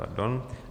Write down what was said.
Pardon.